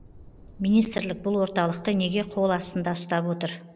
министрлік бұл орталықты неге қол астында ұстап отыр